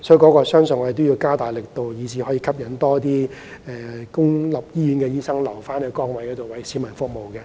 我相信醫管局應加大力度，吸引更多公營醫院醫生留在崗位上，繼續為市民服務。